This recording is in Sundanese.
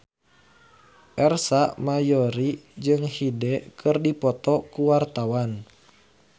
Ersa Mayori jeung Hyde keur dipoto ku wartawan